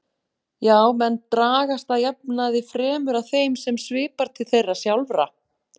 Já, menn dragast að jafnaði fremur að þeim sem svipar til þeirra sjálfra.